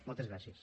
moltes gràcies